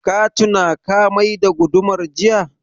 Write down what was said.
Ka tuna ka mai da gudumar jiya?